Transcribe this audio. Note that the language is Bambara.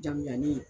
Jamu jani